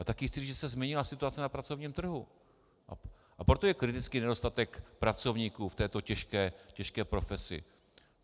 A taky chci říct, že se změnila situace na pracovním trhu, a proto je kritický nedostatek pracovníků v této těžké profesi.